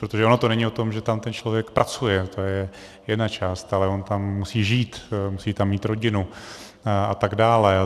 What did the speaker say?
Protože ono to není o tom, že tam ten člověk pracuje, to je jedna část, ale on tam musí žít, musí tam mít rodinu atd.